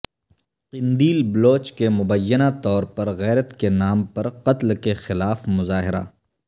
قندیل بلوچ کے مبینہ طور پر غیرت کے نام پر قتل کے خلاف مظاہرہ